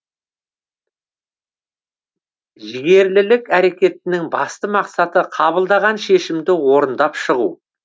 жігерлілік әрекетінің басты мақсаты қабылдаған шешімді орындап шығу